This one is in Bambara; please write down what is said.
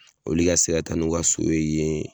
Olu ka se ka taa n'u ka so ye yen